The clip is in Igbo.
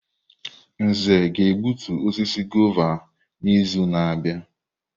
Nze ga-egbutu osisi guava n'izu na-abịa.